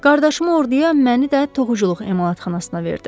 Qardaşımı orduya, məni də toxuculuq emalatxanasına verdi.